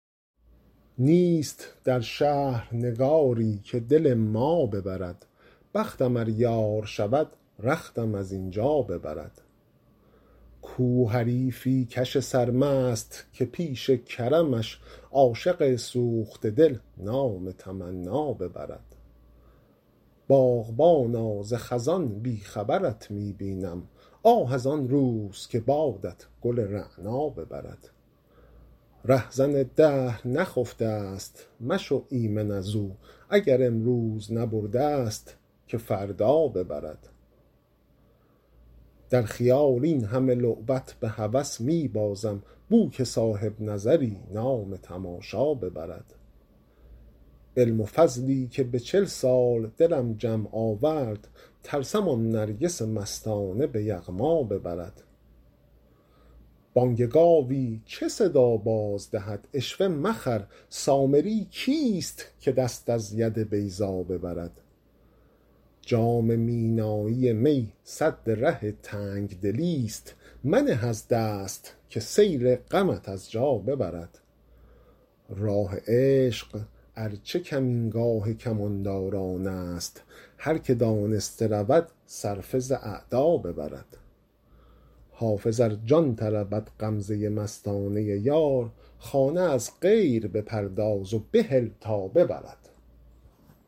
نیست در شهر نگاری که دل ما ببرد بختم ار یار شود رختم از این جا ببرد کو حریفی کش سرمست که پیش کرمش عاشق سوخته دل نام تمنا ببرد باغبانا ز خزان بی خبرت می بینم آه از آن روز که بادت گل رعنا ببرد رهزن دهر نخفته ست مشو ایمن از او اگر امروز نبرده ست که فردا ببرد در خیال این همه لعبت به هوس می بازم بو که صاحب نظری نام تماشا ببرد علم و فضلی که به چل سال دلم جمع آورد ترسم آن نرگس مستانه به یغما ببرد بانگ گاوی چه صدا باز دهد عشوه مخر سامری کیست که دست از ید بیضا ببرد جام مینایی می سد ره تنگ دلی ست منه از دست که سیل غمت از جا ببرد راه عشق ار چه کمینگاه کمانداران است هر که دانسته رود صرفه ز اعدا ببرد حافظ ار جان طلبد غمزه مستانه یار خانه از غیر بپرداز و بهل تا ببرد